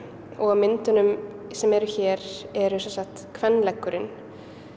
og á myndunum sem eru hér er sem sagt kvenleggurinn